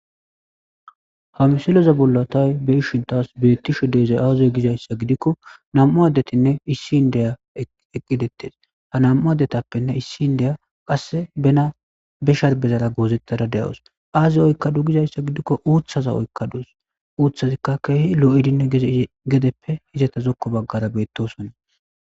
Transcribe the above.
Ha misiloza bollatay be ishintas beettisho deezay aaziy gizayssa gidikko nam7u addetinne issi indeya eqqidettes ha nam'u addetappenne issi indeya qasse bena be sharbezala goozettada de'awus aazey oykkadu gizayssa gidikko uuththaza oykkaduus uuthazikka keehi lo'idinne gedeppe izata zokko baggara beettosonna